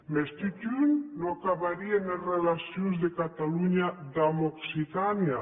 mès totun non acabarien es relacions de catalonha damb occitània